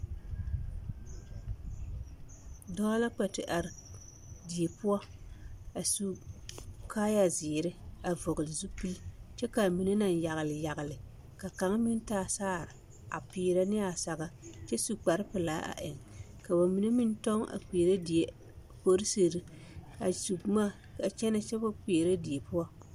Dɔɔ la kpɛ te are die poɔ a su kaaya zeere a vɔgele zupili kyɛ k'a mine naŋ yagele yagele ka kaŋa meŋ taa saare a peerɛ ne a saga kyɛ su kpare pelaa a eŋ ka bamine meŋ tɔŋ a kpeɛrɛ die polisiri a su boma a kyɛnɛ kyɛ wa kpeɛrɛ die poɔ.